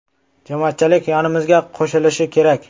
Jamoatchilik yonimizga qo‘shilishi kerak.